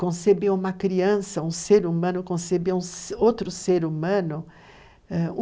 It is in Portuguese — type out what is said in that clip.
conceber uma criança, um ser humano, conceber um, outro ser humano.